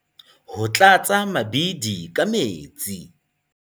Ho tlatsa mabidi ka metsi.